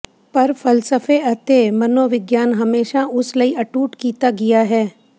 ਪਰ ਫ਼ਲਸਫ਼ੇ ਅਤੇ ਮਨੋਵਿਗਿਆਨ ਹਮੇਸ਼ਾ ਉਸ ਲਈ ਅਟੁੱਟ ਕੀਤਾ ਗਿਆ ਹੈ